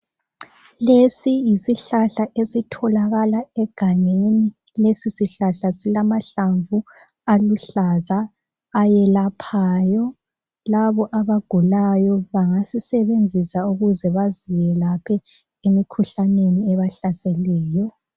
Lesi yisihlahla esitholakala egangeni lesi sihlahla silamahlamvu aluhlaza eyelaphayo . Labo abagulayo bangasisebenzisa baziyelaphe emikhuhlaneni ebahlaseleyo.